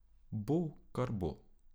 Bo, kar bo.